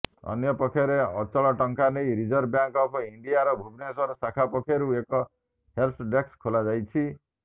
ଅନ୍ୟପକ୍ଷରେ ଅଚଳ ଟଙ୍କା ନେଇ ରିଜର୍ଭ ବ୍ୟାଙ୍କ ଅଫ୍ ଇଣ୍ଡିଆର ଭୁବନେଶ୍ୱର ଶାଖା ପକ୍ଷରୁ ଏକ ହେଲ୍ପ ଡେସ୍କ ଖୋଲାଯାଇଛି